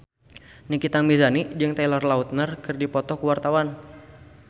Nikita Mirzani jeung Taylor Lautner keur dipoto ku wartawan